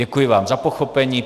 Děkuji vám za pochopení.